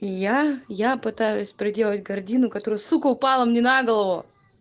я я пытаюсь приделать гардину которую сука упала мне на голову